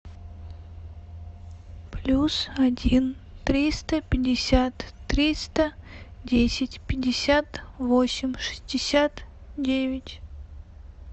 плюс один триста пятьдесят триста десять пятьдесят восемь шестьдесят девять